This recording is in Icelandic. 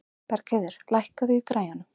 Bergheiður, lækkaðu í græjunum.